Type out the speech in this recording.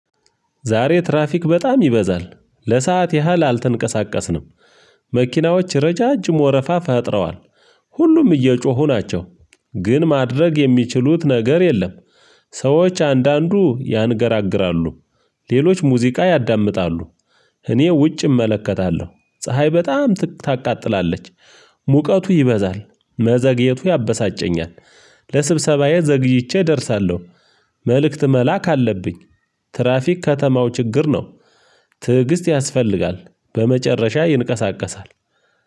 ዛሬ ትራፊክ በጣም ይበዛል ለሰአት ያህል አልተንቀሳቀስንም። መኪናዎች ረዣዥም ወረፋ ፈጥረዋል። ሁሉም እየጮሁ ናቸው። ግን ማድረግ የሚችሉት ነገር የለም። ሰዎች አንዳንዱ ያንገራግራሉ። ሌሎች ሙዚቃ ያዳምጣሉ። እኔ ውጭ እመለከታለሁ ፀሀይ በጣም ታቃጥላለች። ሙቀቱ ይበዛል መዘግየቱ ያበሳጨኛል። ለስብሰባዬ ዘግይቼ እደርሳለሁ። መልእክት መላክ አለብኝ። ትራፊክ ከተማው ችግር ነው። ትዕግስት ያስፈልጋል በመጨረሻ ይንቀሳቀሳል።